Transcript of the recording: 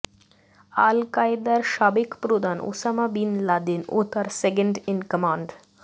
আল কায়েদার সাবেক প্রদান ওসামা বিন লাদেন ও তার সেকেন্ড ইন কমান্ড